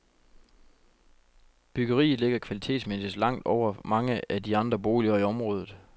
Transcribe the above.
Byggeriet ligger kvalitetsmæssigt langt over mange af de andre boliger i området.